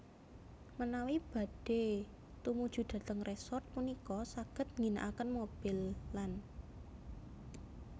Menawi badhé tumujudhateng resort punika saged ngginakaken mobil lan